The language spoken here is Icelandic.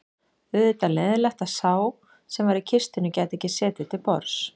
Auðvitað leiðinlegt að sá sem var í kistunni gæti ekki setið til borðs